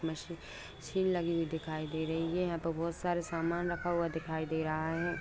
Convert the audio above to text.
Machine लगे हुए दिखाई दे रही है यहाँ पे बोहत सारे सामान रखा हुआ दिखाई दे रहा है।